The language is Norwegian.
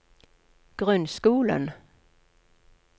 grunnskolen